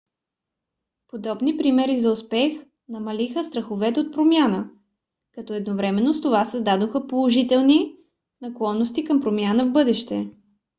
подобни примери за успех намалиха страховете от промяна като едновременно с това създадоха положителни наклонности към промяна в бъдеще